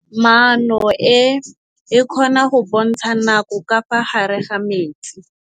Toga-maanô e, e kgona go bontsha nakô ka fa gare ga metsi.